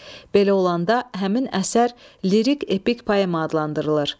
Belə olanda həmin əsər lirik epik poema adlandırılır.